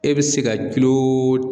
E bɛ se ka